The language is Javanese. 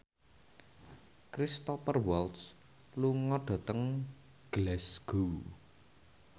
Cristhoper Waltz lunga dhateng Glasgow